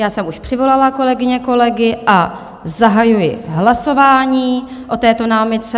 Já jsem už přivolala kolegyně, kolegy a zahajuji hlasování o této námitce.